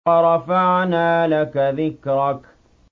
وَرَفَعْنَا لَكَ ذِكْرَكَ